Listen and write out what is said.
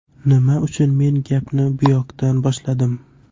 Nima uchun men gapni buyoqdan boshladim?